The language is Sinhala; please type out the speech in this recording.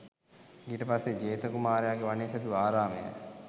ඊට පස්සේ ජේත කුමාරයාගේ වනයේ සැදූ ආරාමය